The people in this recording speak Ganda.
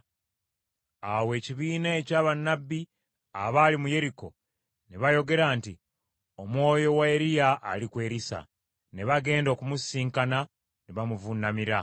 Awo ekibiina ekya bannabbi abaali mu Yeriko ne bayogera nti, “Omwoyo wa Eriya ali ku Erisa.” Ne bagenda okumusisinkana ne bamuvuunamira.